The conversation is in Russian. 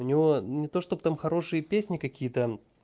у него не то чтобы там хорошие песни какие-то